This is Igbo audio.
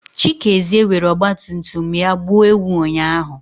Chikezie were ọgbatumtum ya gbuo ewu ụnyahụ.